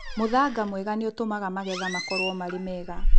Mũthanga mwega nĩ ũtũmaga magetha makorũo marĩ mega